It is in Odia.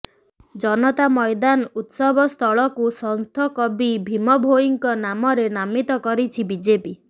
ଜନତା ମଇଦାନ ଉତ୍ସବସ୍ଥଳକୁ ସଂଥ କବି ଭୀମଭୋଇଙ୍କ ନାମରେ ନାମିତ କରିଛି ବିଜେପି